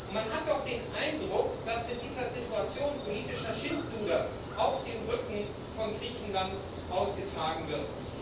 Man hat doch den Eindruck, dass in dieser Situation politisches Schindluder auf dem Rücken von Griechenland ausgetragen wird.